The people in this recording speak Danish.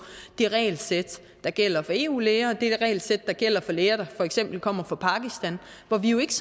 det regelsæt der gælder for eu læger og det regelsæt der gælder for læger der for eksempel kommer fra pakistan hvor vi jo ikke